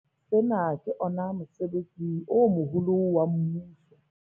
Sena ke ona mosebetsi o moholo wa mmuso.